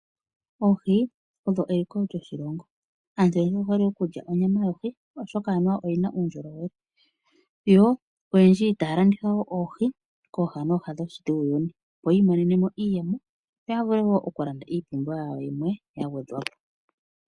Oohi odho eliko lyoshilongo. Aantu oyendji oye hole okulya onyama yohi, oshoka anuwa oyi na uundjolowele. Oyendji otaya landitha wo oohi kooha nooha dhuuyuni, opo yi imonene mo iiyemo yo ya vule wo okulanda iipumbiwa yimwe ya gwedhwa po.